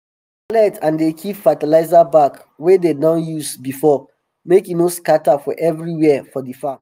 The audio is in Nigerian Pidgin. i dey collect and dey keep fertilizer bag wey dem don use before make e no scatter for everywhere for di farm